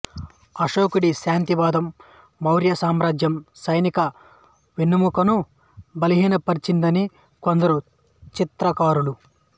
అశోకుడి శాంతివాదం మౌర్య సామ్రాజ్యం సైనిక వెన్నెముకను బలహీనపరిచిందని కొందరు చరిత్రకారులు